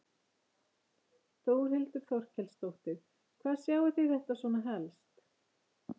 Þórhildur Þorkelsdóttir: Hvar sjáið þið þetta svona helst?